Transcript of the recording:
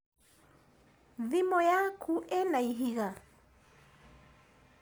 Thimũ yaku ĩna ihiga?